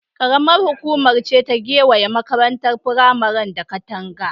Ƙaramar hukuma ce ta gewaye makarantar firamaren da katanga.